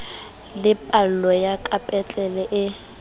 le phallo ya kapetlele e